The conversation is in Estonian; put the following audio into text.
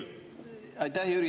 Aitäh, Jüri!